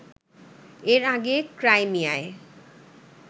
এর আগে ক্রাইমিয়ায়